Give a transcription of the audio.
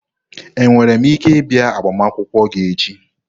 Enwere m ike ịbịa agbamakwụkwọ gị echi?